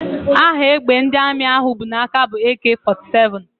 Aha égbè ndị Armi ahụ bụ n'aka bụ AK 47